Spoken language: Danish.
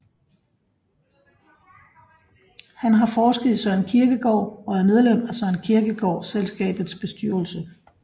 Han har forsket i Søren Kierkegaard og er medlem af Søren Kierkegaard Selskabets bestyrelse